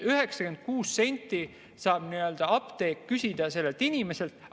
96 senti saab apteek küsida sellelt inimeselt.